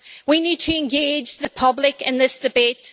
We need to engage the public in this debate.